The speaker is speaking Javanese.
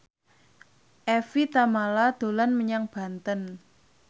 Evie Tamala dolan menyang Banten